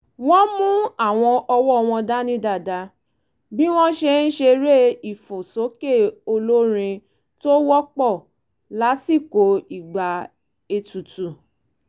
wọ́n mú àwọn ọwọ́ wọn dání dáadáa bí wọ́n ṣe ń ṣeré ìfòsókè olórin tó wọ́pọ̀ lásìkò ìgbà ètùtù